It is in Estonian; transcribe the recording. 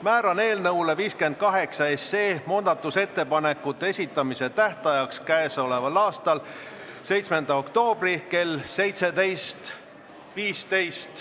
Määran eelnõu muudatusettepanekute esitamise tähtajaks k.a 7. oktoobri kell 17.15.